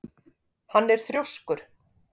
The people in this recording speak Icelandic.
Hann er þrjóskur.